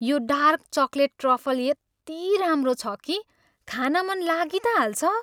यो dark chocolate truffle यत्ति राम्रो छ किखान मन लागी त हाल्छ।